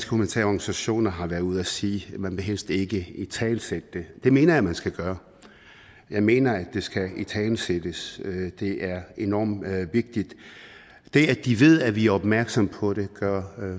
humanitære organisationer har været ude at sige man vil helst ikke italesætte det det mener jeg man skal gøre jeg mener at det skal italesættes det er enormt vigtigt det at de ved at vi er opmærksomme på det gør